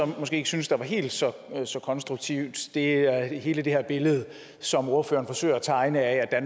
måske ikke synes er helt så konstruktivt er er hele det her billede som ordføreren forsøger at tegne af at